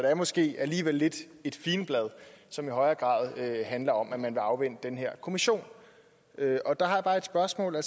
er måske alligevel lidt et figenblad som i højere grad handler om at man vil afvente den her kommission og der har jeg bare et spørgsmål er